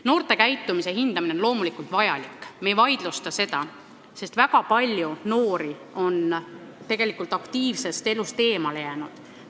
Noorte käitumise hindamine on loomulikult vajalik, me ei vaidlusta seda, sest väga palju noori on aktiivsest elust eemale jäänud.